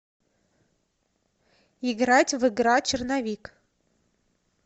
играть в игра черновик